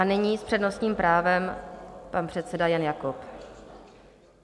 A nyní s přednostním právem pan předseda Jan Jakob.